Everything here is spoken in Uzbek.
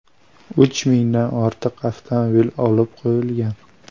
Uch mingdan ortiq avtomobil olib qo‘yilgan.